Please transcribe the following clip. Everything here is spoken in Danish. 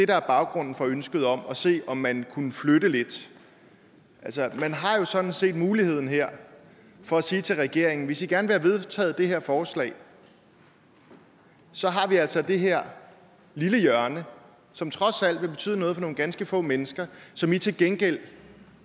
der er baggrunden for ønsket om at se om man kunne flytte lidt man har jo sådan set muligheden her for at sige til regeringen hvis i gerne vil have vedtaget det her forslag så har vi altså det her lille hjørne som trods alt vil betyde noget for nogle ganske få mennesker som i til gengæld